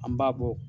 An b'a bɔ